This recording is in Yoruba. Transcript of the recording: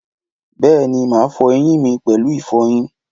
Bèéní, màá fọ eyín mi pèlú ìfọyín